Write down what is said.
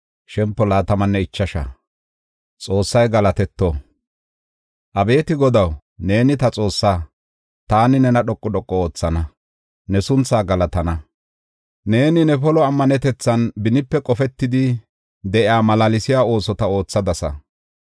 Abeeti Godaw, neeni ta Xoossaa. Taani nena dhoqu dhoqu oothana; ne sunthaa galatana. Neeni ne polo ammanetethan benipe qofetidi de7iya malaalsiya oosota oothadasa.